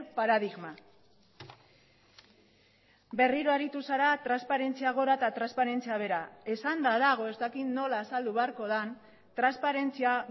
paradigma berriro aritu zara transparentzia gora eta transparentzia behera esanda dago ez dakit nola azaldu beharko den transparentzia